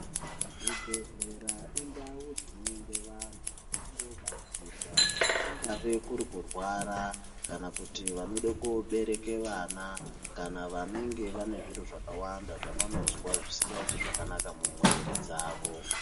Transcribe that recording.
Zvibhedhlera indau dzinoende vanhu, vachindoobatsirwa, kungave kuri kurwara, kana kuti vanode koobereke vana, kana vanenge vane zviro zvakawanda ,zvavanozwa zvisingaiti zvakanaka mumwiiri dzavo.